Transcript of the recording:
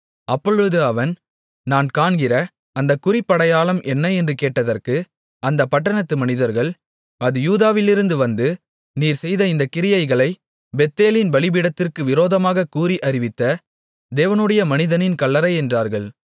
அப்பொழுது அவன் நான் காண்கிற அந்தக் குறிப்படையாளம் என்ன என்று கேட்டதற்கு அந்தப் பட்டணத்து மனிதர்கள் அது யூதாவிலிருந்து வந்து நீர் செய்த இந்தக் கிரியைகளைப் பெத்தேலின் பலிபீடத்திற்கு விரோதமாகக் கூறி அறிவித்த தேவனுடைய மனிதனின் கல்லறை என்றார்கள்